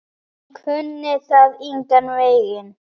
Hún kunni það engan veginn.